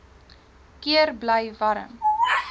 keer bly warm